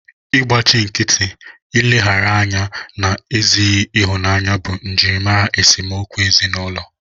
Ịgbachi nkịtị, nleghara anya na ezighị ịhụnanya bụ njirimara esemokwu ezinụlọ